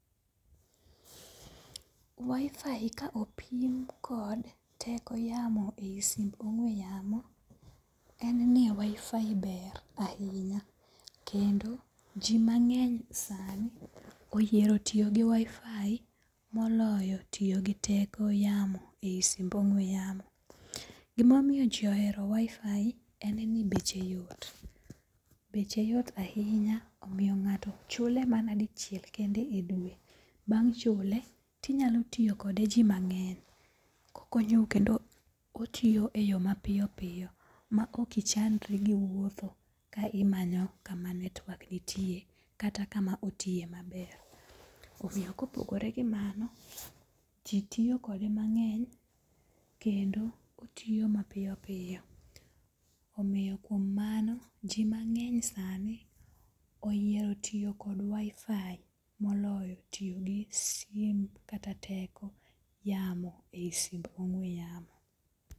Wifi ka opim kod teko yamo e yi simb ong'we yamo en ni wifi ber ahinya. Kendo ji mang'eny sani oyiero tiyo gi wifi moloyo tiyo gi teko yamo eyi simb ong'we yamo. Gimomiyo ji ohero wifi en ni beche yot. Beche yot ahinya omiyo ng'ato chule mana dicheil kende e dwe. Bang' chule tinyalo tiyokode ji mang'eny. Kokonyou kendo otiyo e yo mapiyopiyo ma ok ichandri giwuotho kimany kuma network nitie kata kama otiye maber. Omiyo kopogore gi mano ji tiyo kode mang'eny kendo otiyo mapiyo piyo. Omiyo kuom mano ji mang'eny sani oyiero tiyo kod wifi moloyo tiyo gi sim kata teko yamo eyi simb ongwe yamo.